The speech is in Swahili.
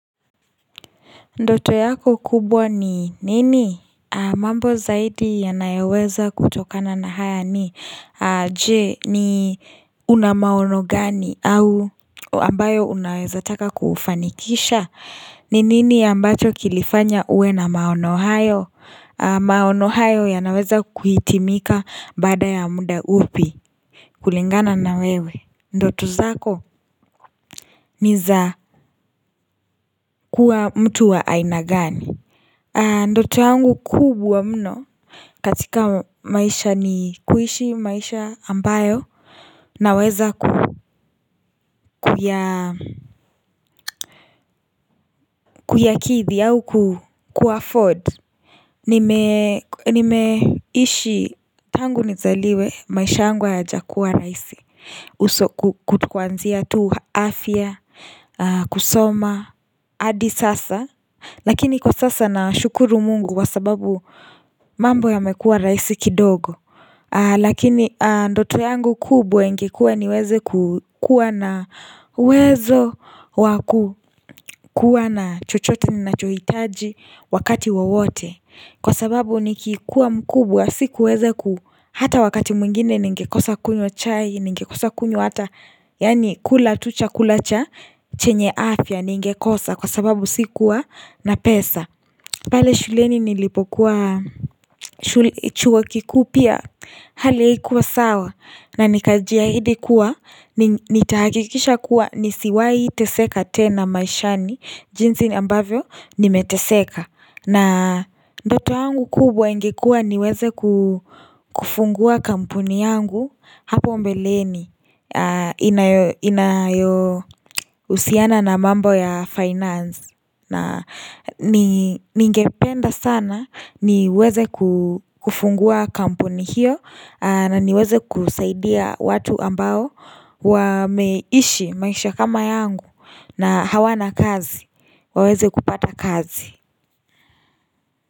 Ndoto yako kubwa ni nini? Mambo zaidi yanayoweza kutokana na haya ni Je una maono gani ambayo unaweza taka kufanikisha Ninini ambacho kilifanya uwe na maono hayo maono hayo yanaweza kuhitimika baada ya muda upi kulingana nawewe. Ndoto zako ni za kua mtu wa aina gani. Ndoto yangu kubwa mno katika maisha ni kuishi maisha ambayo naweza kuyakidhi au ku 'afford, tangu nizaliwe maisha yangu hayajakua rahisi kwanzia tu afya kusoma hdi sasa Lakini kwa sasa nashukuru mungu kwa sababu mambo yamekua rahisi kidogo Lakini ndoto yangu kubwa ingekua niweze kukuwa na uwezo wakua na chochote nachohitaji wakati wowote Kwasababu nikikuwa mkubwa sikuweza, hata wakati mwingine ningekosa kunywa chai Ningekosa kunywa hata yaani kula tu chakula chenye afya ningekosa kwa sababu sikua na pesa pale shuleni nilipokua chuo kikuu pia hali haikua sawa nanikajiahidi kuwa nitahakikisha kuwa nisiwai teseka tena maishani jinsi ambavyo nimeteseka na ndoto yangu kubwa ingekuwa niweze kufungua kampuni yangu hapo mbeleni inayohusiana na mambo ya finance na ningependa sana niweze kufungua kampuni hiyo na niweze kusaidia watu ambao wameishi maisha kama yangu na hawana kazi waweze kupata kazi.